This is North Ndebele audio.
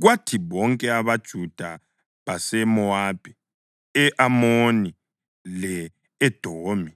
Kwathi bonke amaJuda baseMowabi, e-Amoni le-Edomi